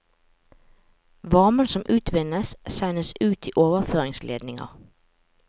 Varmen som utvinnes, sendes ut i overføringsledninger.